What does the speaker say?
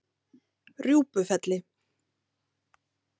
Rjúpufelli